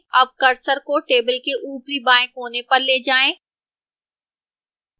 अब cursor को table के ऊपरी बाएं कोने पर ले जाएं